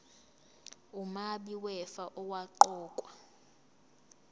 umabi wefa owaqokwa